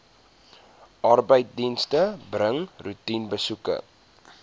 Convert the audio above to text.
arbeidsdienste bring roetinebesoeke